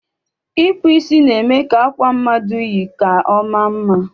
Ịkpụ isi na-eme akwa mmadụ yi ka ọ maa mma